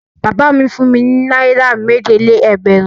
Bàbá mi fún mi ní náírà méje-lé-ẹgbẹ̀rún.